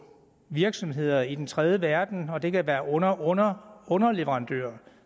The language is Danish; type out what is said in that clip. virksomheder i den tredje verden og det kan være underunderunderleverandører